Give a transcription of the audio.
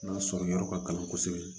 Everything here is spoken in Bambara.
N'a sɔrɔ yɔrɔ ka gɛlɛn kosɛbɛ